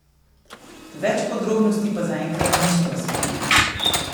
Več podrobnosti pa zaenkrat niso razkrili.